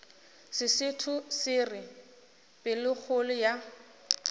sesotho se re pelokgolo ya